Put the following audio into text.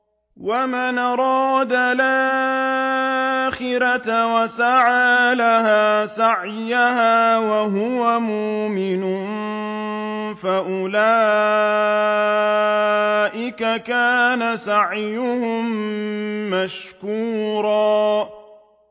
وَمَنْ أَرَادَ الْآخِرَةَ وَسَعَىٰ لَهَا سَعْيَهَا وَهُوَ مُؤْمِنٌ فَأُولَٰئِكَ كَانَ سَعْيُهُم مَّشْكُورًا